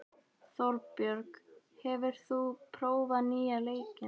Þorbjörg, hefur þú prófað nýja leikinn?